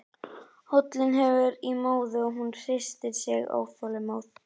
Hóllinn hverfur í móðu og hún hristir sig óþolinmóð.